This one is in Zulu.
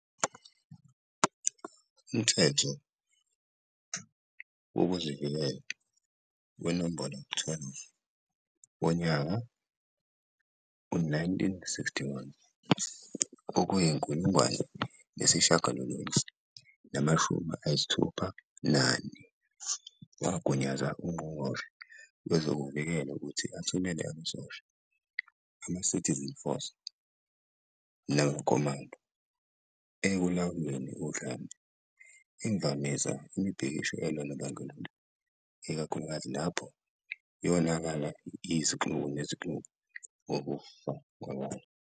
Umthetho Wezokuvikela, No. 12, wonyaka we-1961 wagunyaza ungqongqoshe wezokuvikela ukuthi athumele amasosha amaCitizen Force kanye namaComando "ekulawuleni udlame", imvamisa ukuvimba imibhikisho elwa nobandlululo, ikakhulukazi lapho yonakala yaba yizixuku zezixuku ngokufa kwabantu.